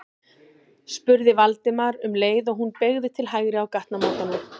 spurði Valdimar um leið og hún beygði til hægri á gatnamótunum.